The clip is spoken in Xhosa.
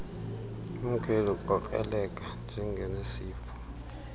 umkhweli ukrokreleka njengonesifo